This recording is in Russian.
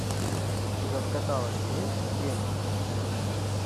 у тебя в каталоге есть гений